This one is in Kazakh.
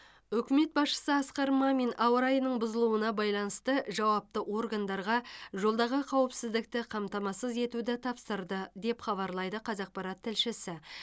үкімет басшысы асқар мамин ауа райының бұзылуына байланысты жауапты органдарға жолдағы қауіпсіздікті қамтамасыз етуді тапсырды деп хабарлайды қазақпарат тілшісі